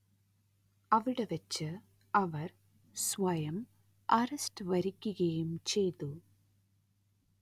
അവിടെ വച്ച് അവർ സ്വയം അറസ്റ്റ് വരിക്കുകയും ചെയ്തു